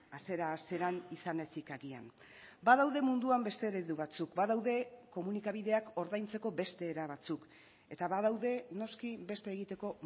hasiera hasieran izan ezik agian badaude munduan beste eredu batzuk badaude komunikabideak ordaintzeko beste era batzuk eta badaude noski beste egiteko